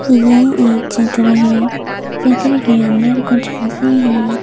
यह एक चित्र है चित्र के अंदर कुछ हैं।